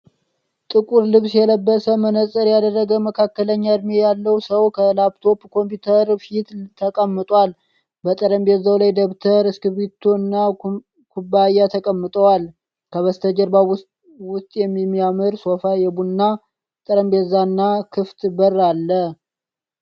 ጥቁር ልብስ የለበሰ፣ መነጽር ያደረገ መካከለኛ እድሜ ያለው ሰው ከላፕቶፕ ኮምፒዩተር ፊት ተቀምጧል። በጠረጴዛው ላይ ደብተር፣ እስክሪብቶ እና ኩባያ ተቀምጠዋል። ከበስተጀርባው ውስጥ የሚያምር ሶፋ፣ የቡና ጠረጴዛ እና ክፍት በር አለ።